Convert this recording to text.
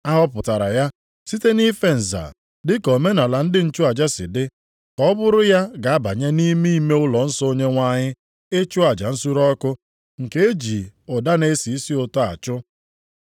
A họpụtara ya site nʼife nza dị ka omenaala ndị nchụaja si dị ka ọ bụrụ ya ga-abanye nʼime ime ụlọnsọ Onyenwe anyị ịchụ aja nsure ọkụ nke e ji ụda na-esi isi ụtọ achụ.